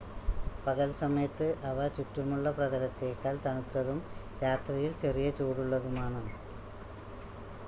പകൽ സമയത്ത് അവ ചുറ്റുമുള്ള പ്രതലത്തേക്കാൾ തണുത്തതും രാത്രിയിൽ ചെറിയ ചൂടുള്ളതുമാണ്